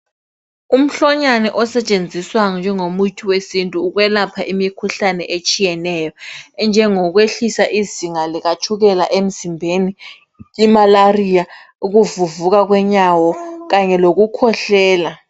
Umhlonyane osetshenziswayo njengomuthi wesintu, ukwelapha imikhuhlane etshiyeneyo. Enjengokwehlisa izinga likatshukela emzimbeni ,imalaria ,ukuvuvuka kwenyawo Kanye lokukhwehlela.